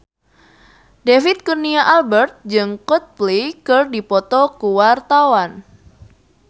David Kurnia Albert jeung Coldplay keur dipoto ku wartawan